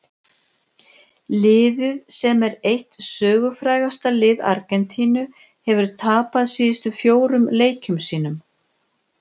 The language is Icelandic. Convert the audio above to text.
Liðið sem er eitt sögufrægasta lið Argentínu hefur tapað síðustu fjórum leikjum sínum.